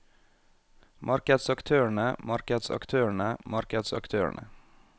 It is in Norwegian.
markedsaktørene markedsaktørene markedsaktørene